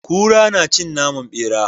Kura nacin naman bera